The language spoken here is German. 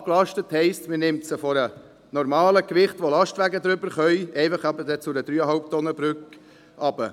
«Abgelastet» heisst, man nimmt sie von einem normalen Gewicht, das Lastwagen die Durchfahrt ermöglicht, auf eine 3,5-Tonnen-Brücke herunter.